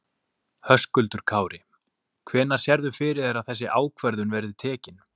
Höskuldur Kári: Hvenær sérðu fyrir þér að þessi ákvörðun verði tekin?